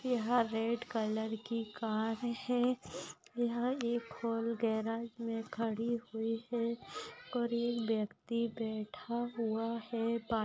यहाँ red colour की car है यहाँ एक और गराज मे खड़ी हुई है और ये व्यक्ति बैठा हुआ है पानी--